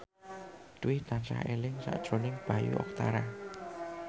Dwi tansah eling sakjroning Bayu Octara